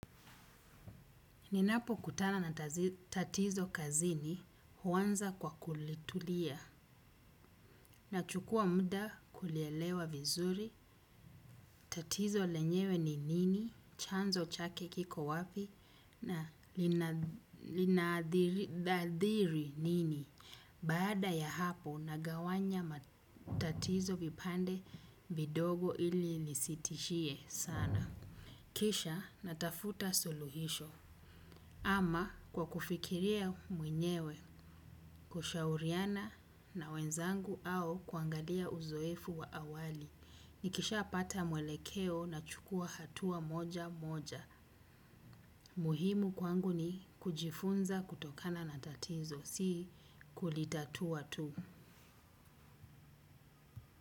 Ninapo kutana na tatizo kazini huwanza kwa kulituliya na chukuwa muda kulielewa vizuri, tatizo lenyewe ni nini, chanzo chake kiko wapi, na lina linadhiri nini, baada ya hapo nagawanya matatizo vipande vidogo ili nisitishie sana. Kisha natafuta suluhisho ama kwa kufikiria mwenyewe kushauriana na wenzangu au kuangalia uzoefu wa awali. Nikisha pata mwelekeo na chukuwa hatua moja moja. Muhimu kwangu ni kujifunza kutokana na tatizo si kulitatua tu.